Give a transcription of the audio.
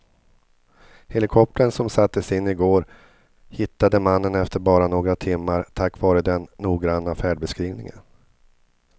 Helikoptern som sattes in i går hittade mannen efter bara några timmar tack vare den noggranna färdbeskrivningen.